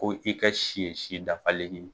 Ko i ka si ye si dafalen ye.